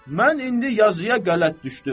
Mən indi yazıya qələt düşdüm.